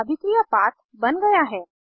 अभिक्रिया पाथ बन गया है